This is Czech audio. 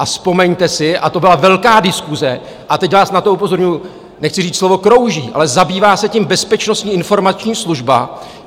A vzpomeňte si - a to byla velká diskuse a teď vás na to upozorňuji - nechci říct slovo krouží, ale zabývá se tím Bezpečnostní informační služba.